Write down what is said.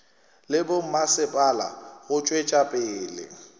le bommasepala go tšwetša pele